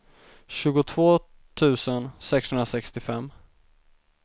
tjugotvå tusen sexhundrasextiofem